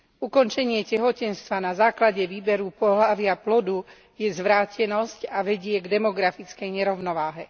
Ukončenie tehotenstva na základe výberu pohlavia plodu je zvrátenosť a vedie k demografickej nerovnováhe.